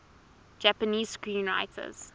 japanese screenwriters